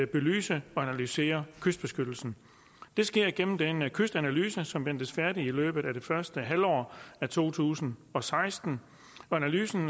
belyse og analysere kystbeskyttelsen det sker igennem den kystanalyse som ventes færdig i løbet af det første halvår af to tusind og seksten analysen